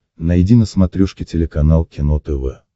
найди на смотрешке телеканал кино тв